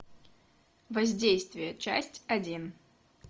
воздействие часть один